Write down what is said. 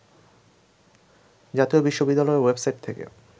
জাতীয় বিশ্ববিদ্যালয়ের ওয়েবসাইট থেকে